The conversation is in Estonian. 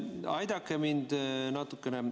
Aidake mind natukene.